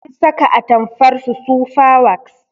Sun saka atamfarsu sufa waks